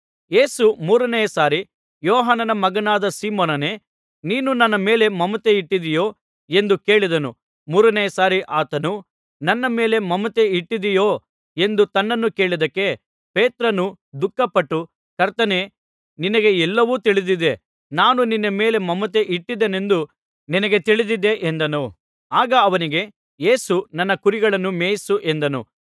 ಯೇಸು ಮೂರನೆಯ ಸಾರಿ ಯೋಹಾನನ ಮಗನಾದ ಸೀಮೋನನೇ ನೀನು ನನ್ನ ಮೇಲೆ ಮಮತೆ ಇಟ್ಟಿದ್ದಿಯೋ ಎಂದು ಕೇಳಿದನು ಮೂರನೆಯ ಸಾರಿ ಆತನು ನನ್ನ ಮೇಲೆ ಮಮತೆ ಇಟ್ಟಿದ್ದೀಯೋ ಎಂದು ತನ್ನನ್ನು ಕೇಳಿದ್ದಕ್ಕೆ ಪೇತ್ರನು ದುಃಖಪಟ್ಟು ಕರ್ತನೇ ನಿನಗೆ ಎಲ್ಲವೂ ತಿಳಿದಿದೆ ನಾನು ನಿನ್ನ ಮೇಲೆ ಮಮತೆ ಇಟ್ಟೀದ್ದೇನೆಂದು ನಿನಗೆ ತಿಳಿದಿದೆ ಎಂದನು ಆಗ ಅವನಿಗೆ ಯೇಸು ನನ್ನ ಕುರಿಗಳನ್ನು ಮೇಯಿಸು ಎಂದನು